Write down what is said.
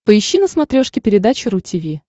поищи на смотрешке передачу ру ти ви